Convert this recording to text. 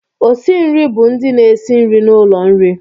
Osi nri bụ ndị na-esi nri n'ụlọ nri